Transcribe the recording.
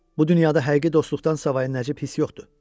Bu dünyada həqiqi dostluqdan savayı nəcib hiss yoxdur.